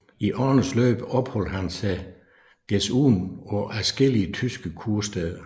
I årenes løb opholdt han sig desuden på adskillige tyske kursteder